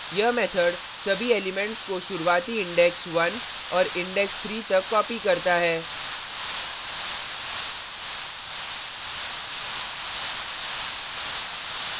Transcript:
यह method सभी elements को शुरुवाती index 1 और index 3 तक copies करता है